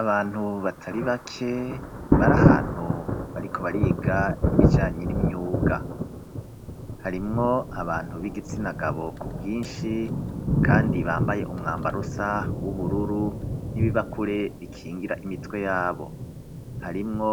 Abantu batari bake bari ahantu bariko bariga ibijanye n'imyuga harimwo abantu b'igitsinagabo ku bwinshi, kandi bambaye umwambarosa w'ubururu n'ibibakure bikingira imitwe yabo harimwo